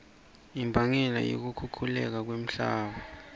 imbangela yokukhukhuleka komhlaba